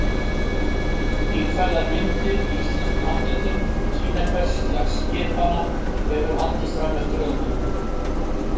Stílfærðar myndir í íslenskum handritum sýna hversu lag skipanna hefur haldist fram eftir öldum.